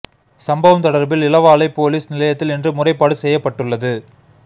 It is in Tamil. சம்பவம் தொடர்பில் இளவாலை பொலிஸ் நிலையத்தில் இன்று முறைப்பாடு செய்யப்பட்டுள்ளது